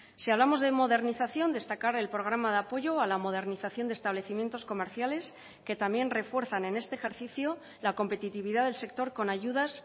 si hablamos de modernización destacar el programa de apoyo a la modernización de establecimientos comerciales que también refuerzan en este ejercicio la competitividad del sector con ayudas